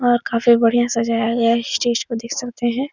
और काफी बढ़िया सजाया गया है स्टेज को देख सकते हैं।